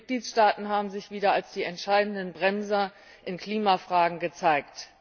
Die Mitgliedstaaten haben sich wieder als die entscheidenden Bremser in Klimafragen gezeigt.